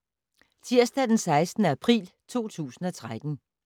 Tirsdag d. 16. april 2013